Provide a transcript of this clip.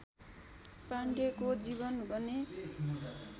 पाण्डेको जीवन भने